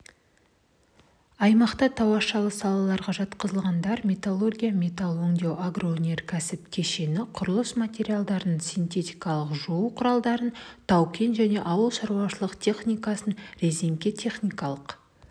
аймақта тауашалы салаларға жатқызылғандар металлургия-метал өңдеу агроөнеркәсіп кешені құрылыс материалдарын синтетикалық жуу құралдарын тау-кен және ауыл шаруашылық техникасын резеңке-техникалық